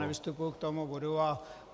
Já nevystupuji k tomuto bodu.